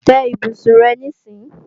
Tẹ́ ibùsùn rẹ níìsín!